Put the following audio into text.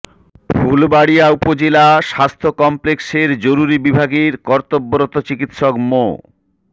ফুলবাড়িয়া উপজেলা স্বাস্থ্য কমপ্লেক্সের জরুরি বিভাগের কর্তব্যরত চিকিৎসক মো